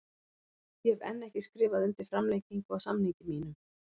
Ég hef enn ekki skrifað undir framlengingu á samningi mínum.